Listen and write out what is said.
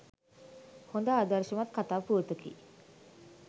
හොඳ ආදර්ශමත් කතා පුවතකි.